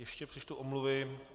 Ještě přečtu omluvy.